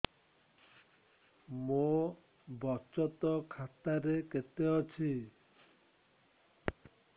ମୋ ବଚତ ଖାତା ରେ କେତେ ଅଛି